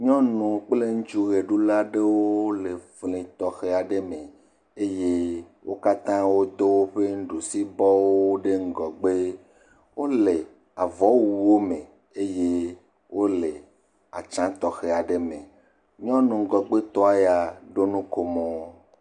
Nyɔnu kple ŋutsu ʋeɖula aɖewo le fli tɔxe aɖe me, eye wo katã wodo woƒe nuɖusibɔwo ɖe ŋgɔgbe, wole avɔwuwo me eye wole atsyia tɔxɛ aɖe me, nyɔnu ŋgɔgbe tɔ ya ɖo nukomo.